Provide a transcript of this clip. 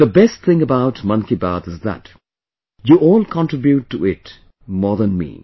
the best thing about 'Mann Ki Baat' is that you all contribute to it more than me